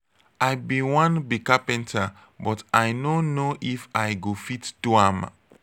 i bin wan be carpenter but i no know if i go fit do am.